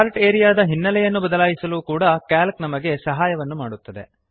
chart area ದ ಹಿನ್ನಲೆಯನ್ನು ಬದಲಾಯಿಸಲೂ ಕೂಡ ಸಿಎಎಲ್ಸಿ ನಮಗೆ ಸಹಾಯವನ್ನು ಮಾಡುತ್ತದೆ